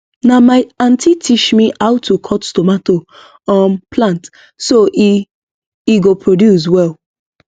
na my aunty teach me how to cut tomato um plant so e e go produce well